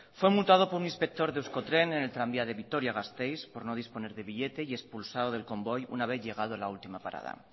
fue multado por un inspector de euskotren en el tranvía de vitoria gasteiz por no disponer de billete y expulsado del convoy una vez llegado a la última parada